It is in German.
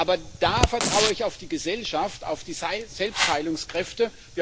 Aber da vertraue ich auf die Gesellschaft, auf die Selbstheilungskräfte.